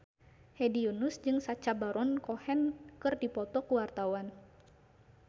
Hedi Yunus jeung Sacha Baron Cohen keur dipoto ku wartawan